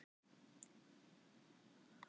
Á liðið einhverja möguleika á sigri í kvöld?